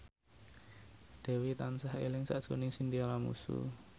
Dewi tansah eling sakjroning Chintya Lamusu